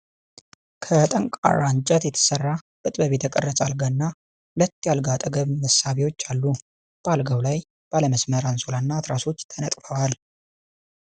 ከጠንካራ እንጨት የተሰራ፣ በጥበብ የተቀረጸ አልጋ እና ሁለት የአልጋ አጠገብ መሳቢያዎች አሉ። በአልጋው ላይ ባለ መስመር አንሶላ እና ትራሶች ተነጥፈዋል።